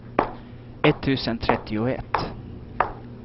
etttusen trettioett